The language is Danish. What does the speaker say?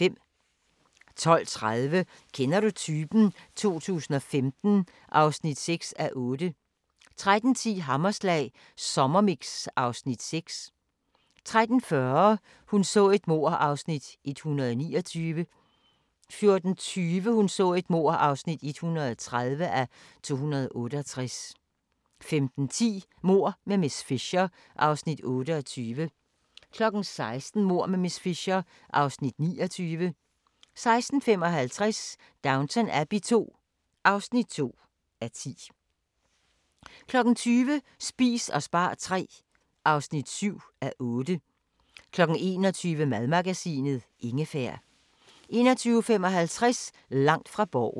12:30: Kender du typen? 2015 (6:8) 13:10: Hammerslag Sommermix (Afs. 6) 13:40: Hun så et mord (129:268) 14:20: Hun så et mord (130:268) 15:10: Mord med miss Fisher (Afs. 28) 16:00: Mord med miss Fisher (Afs. 29) 16:55: Downton Abbey II (2:10) 20:00: Spis og spar III (7:8) 21:00: Madmagasinet – Ingefær 21:55: Langt fra Borgen